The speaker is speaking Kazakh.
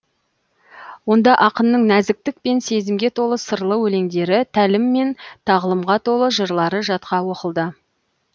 онда ақынның нәзіктік пен сезімге толы сырлы өлеңдері тәлім мен тағылымға толы жырлары жатқа оқылды